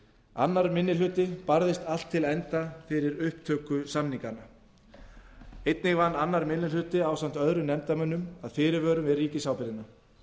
annar minni hluti barðist allt til enda fyrir upptöku samninganna einnig vann annar minni hluti ásamt öðrum nefndarmönnum að fyrirvörum við ríkisábyrgðina það